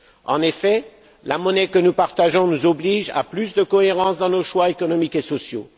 En effet, la monnaie que nous partageons nous oblige à plus de cohérence dans nos choix économiques et sociaux.